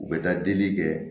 U bɛ taa delili kɛ